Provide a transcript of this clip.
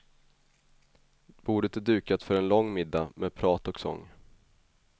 Bordet är dukat för en lång middag med prat och sång.